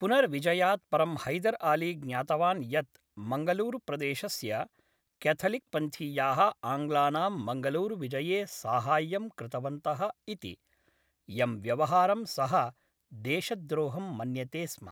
पुनर्विजयात् परं हैदर् अली ज्ञातवान् यत् मङ्गलूरुप्रदेशस्य क्याथलिक्पन्थीयाः आङ्ग्लानां मङ्गलूरुविजये साहाय्यं कृतवन्तः इति, यं व्यवहारं सः देशद्रोहं मन्यते स्म।